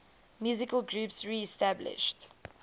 musical groups reestablished